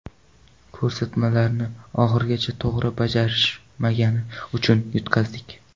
Ko‘rsatmalarni oxirigacha to‘g‘ri bajarishmagani uchun yutqazdik.